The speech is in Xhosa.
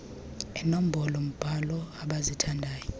eenombolo mbhalo abazithandayo